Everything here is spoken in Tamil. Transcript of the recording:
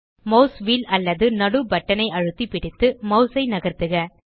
மாஸ் வீல் அல்லது நடு பட்டன் ஐ அழுத்தி பிடித்து மாஸ் ஐ நகர்த்துக